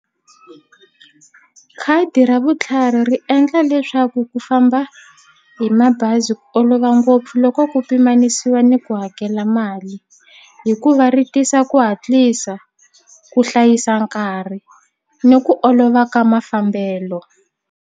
Khadi ra vutlhari ri endla leswaku ku famba hi mabazi ku olova ngopfu loko ku pimanisiwa ni ku hakela mali hikuva ri tisa ku hatlisa ku hlayisa nkarhi ni ku olova ka mafambelo.